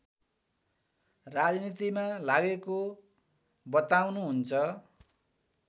राजनीतिमा लागेको बताउनुहुन्छ